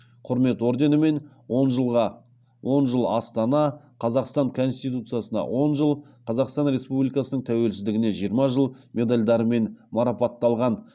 құрмет орденімен он жыл астана қазақстан конституциясына он жыл қазақстан республикасының тәуелсіздігіне жиырма жыл медальдарымен марапатталған